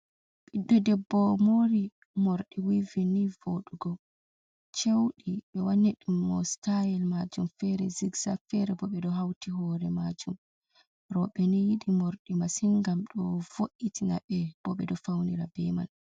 Biddo debbo mori mordi wivi ni vodugo cewdi be wani dum mo stayil majum fere zixza fere bo be do hauti hore majum robe ni yidi mordi masin gam do vo’itina be bo be do faunira be man.